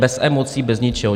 Bez emocí, bez ničeho.